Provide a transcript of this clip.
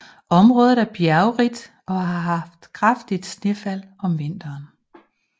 Området er bjergrigt og har kraftigt snefald om vinteren